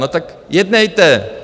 No tak jednejte.